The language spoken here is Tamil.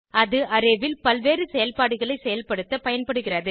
இது arrayல் பல்வேறு செயல்பாடுகளை செயல்படுத்த பயன்படுகிறது